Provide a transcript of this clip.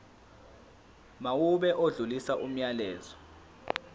mawube odlulisa umyalezo